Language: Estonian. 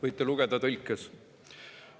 Seda võite tõlkes lugeda.